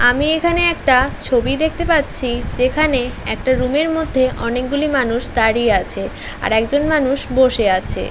আমি এখানে একটা ছবি দেখতে পাচ্ছি যেখানে একটা রুমের মধ্যে অনেকগুলি মানুষ দাঁড়িয়ে আছে আর একজন মানুষ বসে আছে।